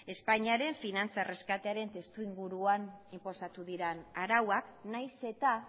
espainia ere finantza erreskate testuinguruan inposatu diren arauak nahiz eta